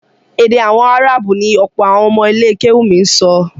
Èdè àwọn áráàbù ni ọ̀pọ̀ àwọn ọmọ ilé kéwúù mi ń sọ